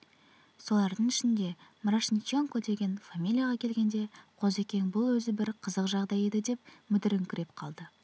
солардың ішінде мрошниченко деген фамилияға келгенде қозыкең бұл өзі бір қызық жағдай еді деп мүдіріңкіреп қалды